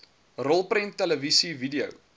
rolprent televisie video